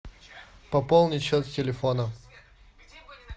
пополнить счет телефона